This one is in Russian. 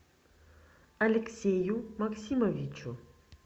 алексею максимовичу